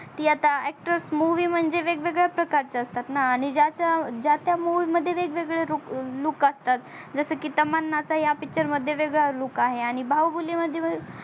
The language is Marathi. ती आता actor movie म्हणजे वेगवेगळ्या प्रकारचा असतात णा आणि ज्या त्या movie मध्ये वेगवेळे look असतात जस की तमन्नाचा हया picture मध्ये वेगळा look आहे आणि बाहुबली मध्ये